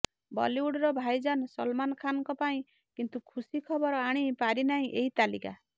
ବଲିଉଡ଼ର ଭାଇଜାନ ସଲମାନ୍ ଖାନଙ୍କ ପାଇଁ କିନ୍ତୁ ଖୁସି ଖବର ଆଣି ପାରିନାହିଁ ଏହି ତାଲିକା